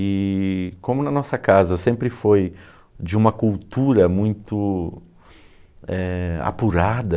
E como na nossa casa sempre foi de uma cultura muito eh... Apurada,